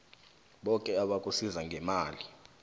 boke abakusiza ngemali